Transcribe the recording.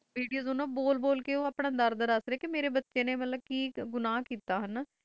video ਵਿਚ ਬੋਲ ਬੋਲ ਕਈ ਦਸਦੇ ਪਾਈ ਸੀ ਕਿ ਮਾਰੇ ਬੱਚੇ ਨੇ ਕਿ ਗੁਨਾ ਕੀਤਾ ਸੀ